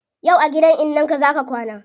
Yau a gidan innan ka zaa ka kwana